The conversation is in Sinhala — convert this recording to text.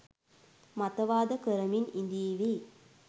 මතවාද කරමින් ඉදීවි